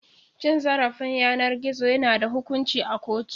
Cin zarafin yanar gizo yana da hukunci a kotu.